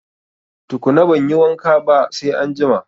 Tukuna banyi wanka ba sai anjima